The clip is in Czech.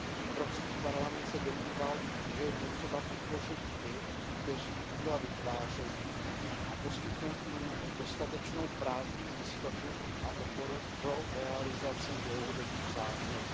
Evropský parlament se domníval, že je potřeba podpořit ty, kteří díla vytvářejí, a poskytnout jim dostatečnou právní jistotu a oporu pro realizaci dlouhodobých záměrů.